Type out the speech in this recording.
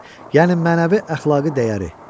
Yəni mənəvi əxlaqi dəyəri.